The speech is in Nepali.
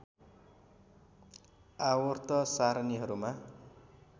आवर्त सारणीहरूमा